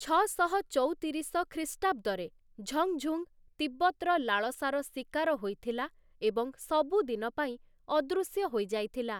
ଛଅଶହ ଚଉତିରିଶ ଖ୍ରୀଷ୍ଟାବ୍ଦରେ 'ଝଙ୍ଗ୍‌ଝୁଙ୍ଗ୍‌' ତିବ୍ବତ୍‌ର ଲାଳସାର ଶିକାର ହୋଇଥିଲା ଏବଂ ସବୁଦିନ ପାଇଁ ଅଦୃଶ୍ୟ ହୋଇଯାଇଥିଲା ।